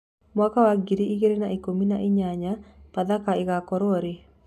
mwaka wa ngiri ĩgĩrĩ na ĩkũmĩ na ĩnyanya pathaka igakorwo rii